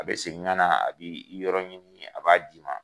A bɛ segin ka na a b'i yɔrɔ ɲini a b'a d'i ma.